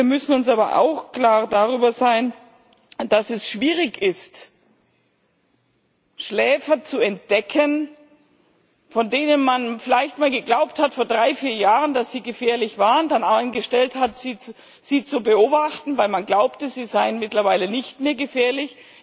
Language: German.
Wir müssen uns aber auch klar darüber sein, dass es schwierig ist, Schläfer zu entdecken, von denen man vielleicht einmal geglaubt hat vor drei, vier Jahren dass sie gefährlich waren, dann eingestellt hat, sie zu beobachten, weil man glaubte, sie seien mittlerweile nicht mehr gefährlich.